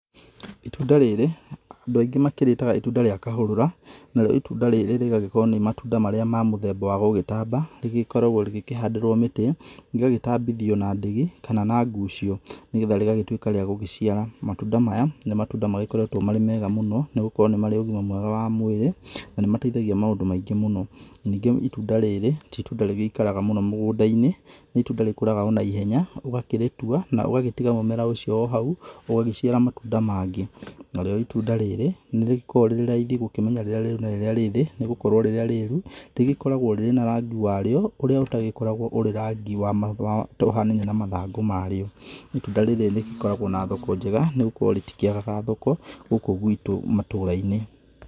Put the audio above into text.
Itunda rĩrĩ andũ aingĩ makĩrĩtaga ĩtunda rĩa kahũrũra, narĩo ĩtunda rĩrĩ rĩgagĩkorwo nĩ matunda marĩa ma mũthemba wa gũgĩtamba rĩgĩkoragwo rĩgĩkĩhandĩrwo mĩtĩ, rĩgagĩtambithio na ndigi kana na ngucio nĩgetha rĩgagĩtuĩka rĩa gũcĩara. Matunda maya nĩ matunda makoretwo marĩ mega mũno nĩgũkorwo nĩ marĩ ũgima mwega mwĩrĩ na nĩ mateithagia maũndũ maingĩ mũno. Ningĩ ĩtunda rĩrĩ tĩ ĩtunda rĩgĩikaraga mũno mũgũnda-inĩ, nĩ ĩtunda rĩgĩkũraga ona ihenya ũgakĩrĩtua na ũgagĩtiga mũmera ũcio ohau ũgagĩciara matunda mangĩ. Narĩo ĩtunda rĩrĩ nĩrĩkoragwo rĩrĩ raithi gũkĩmenya rĩrĩa rĩru na rĩrĩa rĩthĩ nĩ gukorwo rĩrĩa rĩru rĩgĩkoragwo rĩrĩ na rangi wa rĩo ũrĩa ũtagĩkoragwo ũrĩ rangi ũhanaine na mathangũ marĩa. Ĩtunda rĩrĩ rĩkoragwo na thoko njega nĩ gukorwo rĩtikĩagaga thoko gũkũ gwitũ matũra-inĩ.